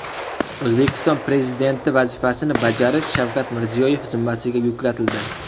O‘zbekiston Prezidenti vazifasini bajarish Shavkat Mirziyoyev zimmasiga yuklatildi.